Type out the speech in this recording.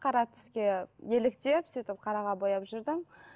қара түске еліктеп сөйтіп қараға бояп жүрдім